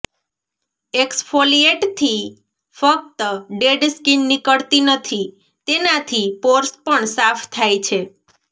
એક્સફોલિએટથી ફક્ત dead skin નીકળતી નથી તેનાથી પોર્સ પણ સાફ થાય છે